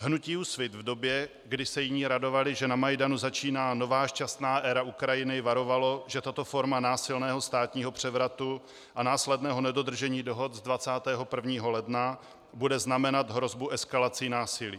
Hnutí Úsvit v době, kdy se jiní radovali, že na Majdanu začíná nová, šťastná éra Ukrajiny, varovalo, že tato forma násilného státního převratu a následného nedodržení dohod z 21. ledna bude znamenat hrozbu eskalací násilí.